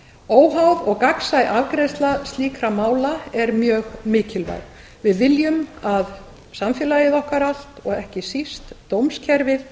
óháð og gagnsæ afgreiðsla slíkra mála er mjög mikilvæg við viljum að samfélag okkar allt og ekki síst dómskerfið